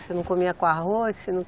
Você não comia com arroz? Você